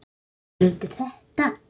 Hann tekur undir þetta.